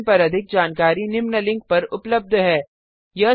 इस मिशन पर अधिक जानकारी निम्न लिंक पर उपलब्ध है